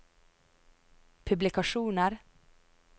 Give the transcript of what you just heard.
publikasjoner